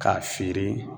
K'a feere